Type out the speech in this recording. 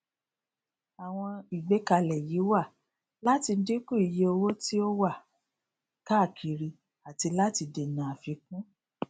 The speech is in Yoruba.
àwọn ìgbékalè yí wà láti dínkù iye owó tí ó wà káàkiri àti láti dènà àfikún